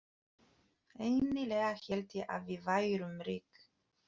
Eiginlega hélt ég að við værum rík.